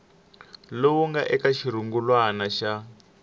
lowu nga eka xirungulwana xa